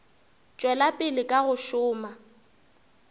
tšwela pele ka go šoma